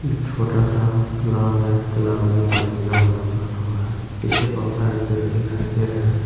एक छोटा सा तालाब है तालाब मे पानी लबा-लब भरा हुआ है पीछे बहुत सारे पेड़ दिखाई दे रहे है।